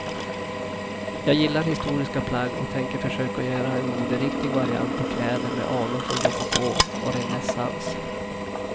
Jag gillar historiska plagg och tänker försöka göra en moderiktig variant på kläder med anor från rokoko och renässans.